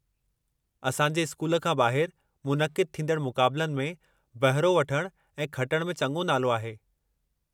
असां जे स्कूल खां ॿाहिर मुनक़िद थींदड़ मुक़ाबलनि में बहिरो वठणु ऐं खटणु में चङो नालो आहे।